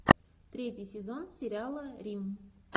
третий сезон сериала рим